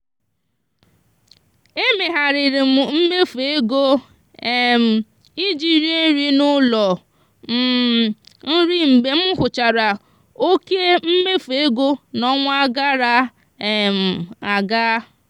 e mezigharịrị m mmefu ego um ije rie nri n'ụlọ um nri mgbe m hụchara oké mmefu ego n'ọnwa gara um aga.